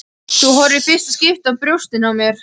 Þú horfir í fyrsta skipti á brjóstin á mér.